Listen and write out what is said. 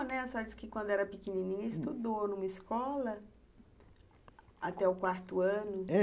A senhora disse que, quando era pequenininha, estudou numa escola até o quarto ano.